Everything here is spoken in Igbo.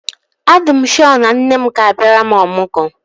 A dị m shọ na nne m ga-abịara m ọmụgwọ